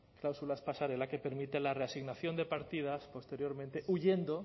clausulas la que permite la reasignación de partidas posteriormente huyendo